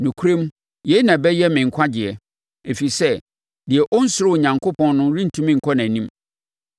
Nokorɛm, yei na ɛbɛyɛ me nkwagyeɛ, ɛfiri sɛ deɛ ɔnsuro Onyankopɔn no rentumi nkɔ nʼanim!